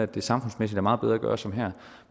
det samfundsmæssigt er meget bedre at gøre som her